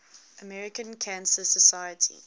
american cancer society